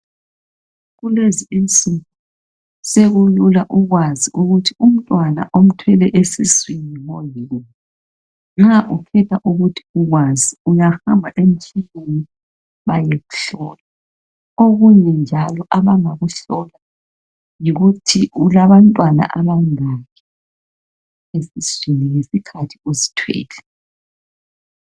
Kulezi insuku sekulula ukwazi ukuthi umntwana omthweleyo esiswini ngoyini. Nxa ufisa ukuthi ukwazi uyahamba emtshineni bayekuhlola. Okunye njalo abangakuhlola yikuthi ulabantwana abangaki esiswini ngesikhathi uzithwele.